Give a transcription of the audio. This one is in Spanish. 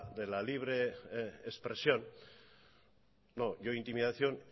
de la libre expresión no yo intimidación